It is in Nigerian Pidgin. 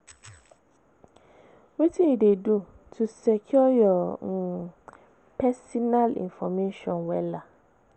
wetin you dey do to secure your um pesinal information wella?